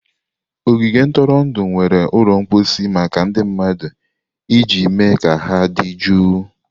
Ogige ntụrụndụ nwere ụlọ mposi maka ndị mmadụ iji mee ka ha dị jụụ.